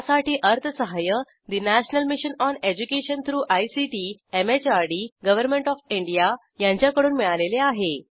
यासाठी अर्थसहाय्य national mission on education through ICT MHRD government O F India यांच्याकडून मिळालेले आहे